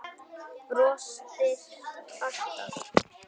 Brostir alltaf.